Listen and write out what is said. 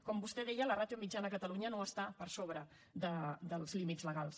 com vostè deia la ràtio mitjana a catalunya no està per sobre dels límits legals